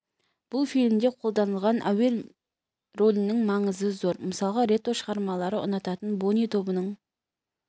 бұл фильмде қолданылған әуен ролінің маңызы зор мысалы ретро шығармаларды ұнататын бони тобының